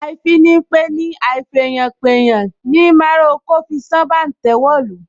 Àìfìpeni àìfèèyànpèèyàn ni ará oko fi sán bàǹtẹ́ wọ̀lú